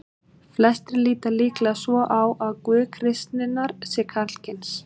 Flestir líta líklega svo á að Guð kristninnar sé karlkyns.